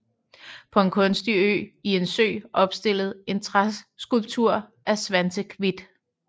På en kunstig ø i en sø opstillet en træskulptur af Svantevit